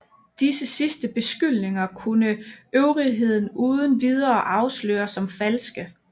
Disse sidste beskyldninger kunne øvrigheden uden videre afsløre som falske